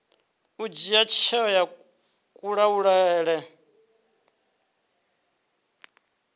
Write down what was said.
u dzhia tsheo yo kalulaho